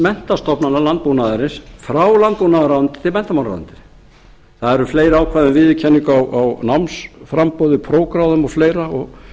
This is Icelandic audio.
menntastofnana og landbúnaðarins frá landbúnaðarráðuneytinu til menntamálaráðuneytisins það eru fleiri ákvæði viðurkenning á námsframboði prófgráðum og fleira og